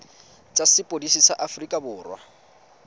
tsa sepodisi sa aforika borwa